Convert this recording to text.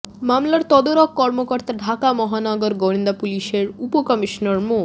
মামলার তদারক কর্মকর্তা ঢাকা মহানগর গোয়েন্দা পুলিশের উপকমিশনার মো